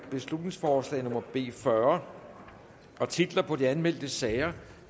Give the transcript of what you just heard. beslutningsforslag nummer b fyrre titler på de anmeldte sager